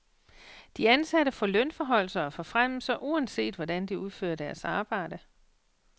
De ansatte får lønforhøjelser og forfremmelser, uanset hvordan de udfører deres arbejde.